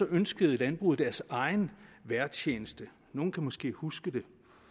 ønskede landbruget deres egen vejrtjeneste nogle kan måske huske det